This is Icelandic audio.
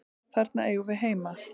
Þarna eigum við heima.